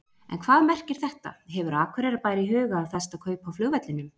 En hvað merkir þetta, hefur Akureyrarbær í huga að festa kaup á flugvellinum?